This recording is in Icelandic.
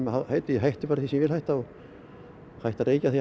hætti því sem ég vil hætta hætti að reykja þegar